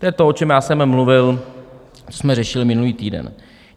To je to, o čem já jsem mluvil, co jsme řešili minulý týden.